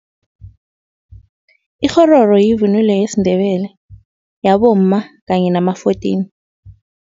Ikghororo yivunulo yesiNdebele, yabomma kanye nama-fourteen.